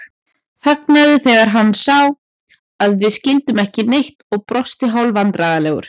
Þagnaði þegar hann sá að við skildum ekki neitt og brosti hálfvandræðalegur.